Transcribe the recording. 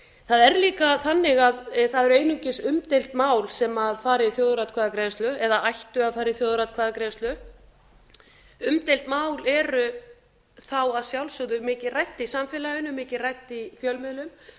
það er líka þannig að það eru einungis umdeild mál sem fara í þjóðaratkvæðagreiðslu eða ættu að fara í þjóðaratkvæðagreiðslu umdeild mál eru þá að sjálfsögðu þá mikið rædd í samfélaginu mikið rædd í fjölmiðlum